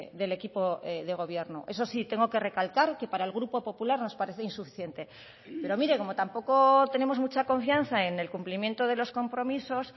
del equipo de gobierno eso sí tengo que recalcar que para el grupo popular nos parece insuficiente pero mire como tampoco tenemos mucha confianza en el cumplimiento de los compromisos